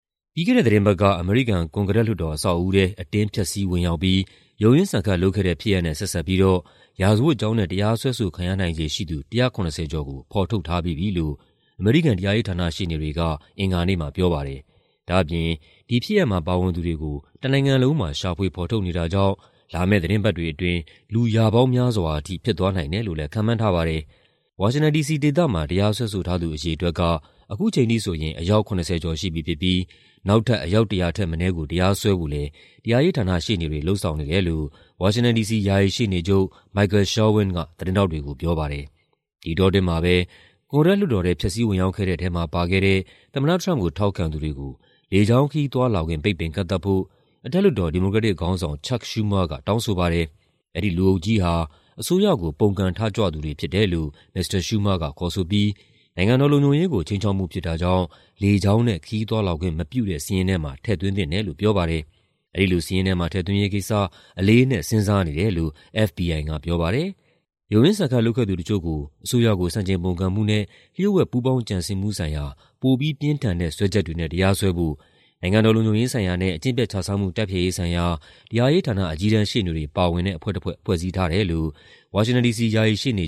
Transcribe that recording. ပြီးခဲ့တဲ့သီတင်းပတ်က အမေရိကန် ကွန်ဂရက်လွှတ်တော် အဆောက်အဦးထဲ အတင်း ဖျက်ဆီး ဝင်ရောက်ပြီး ရုန်းရင်းဆန်ခတ်လုပ်ခဲ့တဲ့ဖြစ်ရပ်နဲ့ ဆက်စပ်ပြီးတော့ ရာဇဝတ်ကြောင်းနဲ့ တရားစွဲဆိုခံရနိုင်ခြေရှိသူ ၁၇၀ ကျော်ကို ဖော်ထုတ်ထားပြီးပြီလို့ အမေရိကန် တရားရေးဌာန ရှေ့နေတွေက အင်္ဂါနေ့မှာပြောပါတယ်။ ဒါ့အပြင် ဒီဖြစ်ရပ်မှာ ပါဝင်သူတွေကို တနိုင်ငံလုံးမှာ ရှာဖွေဖော်ထုတ်နေတာကြောင့် လာမယ့်သီတင်းပတ်တွေအတွင်း လူ ရာပေါင်းများစွာထိ ဖြစ်သွားနိုင်တယ်လို့လည်း ခန့်မှန်းထားပါတယ်။ ဝါရှင်တန် ဒီစီဒေသမှာ တရားစွဲဆိုထားသူ အရေအတွက်က ခုချိန်ထိဆိုရင် အယောက် ၇၀ ကျော်ရှိပြီဖြစ်ပြီး နောက်ထပ် အယောက် ၁၀၀ ထက်မနည်းကို တရားစွဲဖို့လည်း တရားရေးဌာနရှေ့နေတွေ လုပ်ဆောင်နေတယ်လို့ ဝါရှင်တန် ဒီစီ ယာယီရှေ့နေချုပ် Michael Sherwin က သတင်းထောက်တွေကို ပြောပါတယ်။ ဒီအတောအတွင်းမှာပဲ ကွန်ဂရက်လွှတ်တော်ထဲ ဖျက်ဆီးဝင်ရောက်ခဲ့တဲ့ထဲမှာ ပါခဲ့တဲ့ သမ္မတထရမ့်ပ်ကို ထောက်ခံသူတွေကို လေကြောင်းခရီးသွားလာခွင့် ပိတ်ပင်ကန့်သတ်ဖို့ အထက်လွှတ်တော် ဒီမိုကရက်တစ်ခေါင်းဆောင် CHuck Schumer က တောင်းဆိုပါတယ်။ အဲဒီလူအုပ်ကြီးဟာ အစိုးရကို ပုန်ကန်ထကြွသူတွေဖြစ်တယ်လို့ မစ္စတာ Schumer က ခေါ်ဆိုပြီး နိုင်ငံတော်လုံခြုံရေးကို ခြိမ်းခြောက်မှုဖြစ်တာကြောင့် လေကြောင်းနဲ့ ခရီးသွားလာခွင့်မပြုတဲ့ စာရင်းထဲမှာ ထည့်သွင်းသင့်တယ်လို့ ပြောပါတယ်။ အဲဒီလိုစာရင်းထဲမှာ ထည့်သွင်းရေးကိစ္စ "အလေးအနက်" စဉ်းစားနေတယ်လို့ FBI ကပြောပါတယ်။ ရုန်းရင်းဆန်ခတ် လုပ်ခဲ့သူတချို့ကို အစိုးရကို ဆန့်ကျင်ပုန်ကန်မှုနဲ့ လ ျှို့ဝှက်ပူးပေါင်းကြံစည်မှုဆိုင်ရာ ပိုပြီးပြင်းထန်တဲ့ စွဲချက်တွေနဲ့ တရားစွဲဖို့ နိုင်ငံတော်လုံခြုံရေးဆိုင်ရာနဲ့ အကျင့်ပျက်ခြစားမှု တိုက်ဖျက်ရေးဆိုင်ရာ တရားရေးဌာန အကြီးတန်းရှေ့နေတွေပါဝင်တဲ့ အဖွဲ့တဖွဲ့ ဖွဲ့စည်းထားတယ်လို့ ဝါရှင်တန် ဒီစီ ယာယီရှေ့နေ